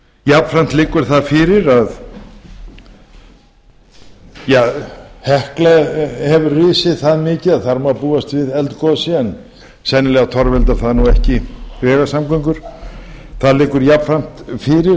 jafnframt liggur það fyrir að hekla hefur risið það mikið að þar má má búast við eldgosi en sennilega torveldar það ekki greiðar samgöngur það liggur jafnframt fyrir